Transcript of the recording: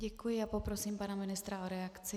Děkuji a poprosím pana ministra o reakci.